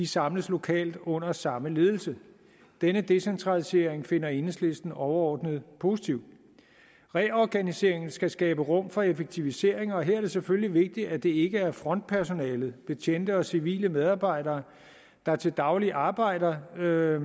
samles lokalt under samme ledelse denne decentralisering finder enhedslisten overordnet positiv reorganiseringen skal skabe rum for effektiviseringer og her er det selvfølgelig vigtigt at det ikke er frontpersonalet betjente og civile medarbejdere der til daglig arbejder med